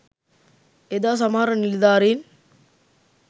එදා සමහර නිලධාරීන්